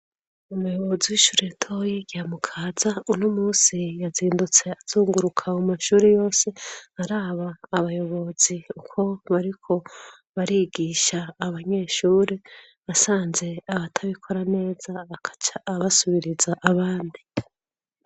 umuyobozi w'ishuri toyi rya mukaza uno umunsi yazindutse azunguruka mumashuri yose araba abayobozi uko bariko barigisha abanyeshuri asanze abatabikora neza agaca abasubiriza abandi.